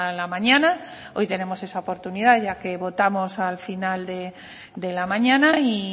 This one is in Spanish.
la mañana hoy tenemos esa oportunidad ya que votamos al final de la mañana y